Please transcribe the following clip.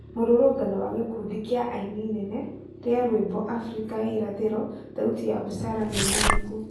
Mũrũrũngano wa gĩkundi kĩa aini nene rĩa rwĩmbo Afrika ya irathĩro thauti ya busara nimenyeku